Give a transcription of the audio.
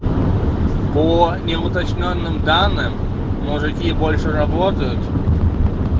по не уточнённым данным мужики больше работают